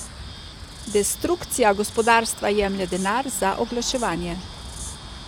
Destrukcija gospodarstva jemlje denar za oglaševanje.